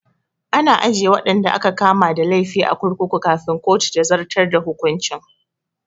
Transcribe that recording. Ana ajiye waɗanda aka kama da laifi a kurkuku kafin kotu ta zartar da hukuncin